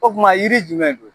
O kuma yiri jumɛn don